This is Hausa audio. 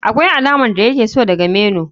Akwai alamar da yake so daga menu.